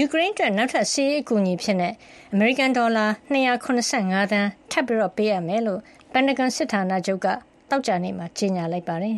ူကရိန်းအတွက် နောက်ထပ်စစ်ရေးအကူအညီအဖြစ် အမေရိကန်က ဒေါ်လာ ၂၇၅ သန်းထပ်မံပေးအပ်မှာ ဖြစ်ကြောင်း ပင်တာဂွန်စစ်ဌာနချုပ်က သောကြာနေ့မှာ ကြေညာလိုက်ပါတယ်